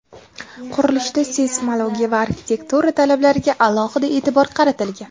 Qurilishda seysmologiya va arxitektura talablariga alohida e’tibor qaratilgan.